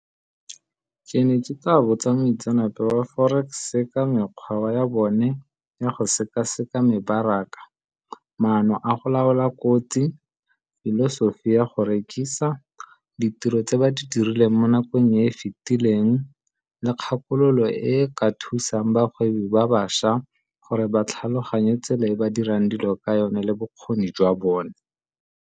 Ke ne ke tla botsa moitseanape wa forex-e ka mekgwa wa ya bone ya go seka-seka mebaraka, maano a go laola kotsi, filosofi ya go rekisa, ditiro tse ba di dirileng mo nakong e e fitileng, le kgakololo e ka thusang bagwebi ba bašwa gore ba tlhaloganye tsela e ba dirang dilo ka yone le bokgoni jwa bone.